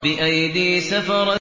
بِأَيْدِي سَفَرَةٍ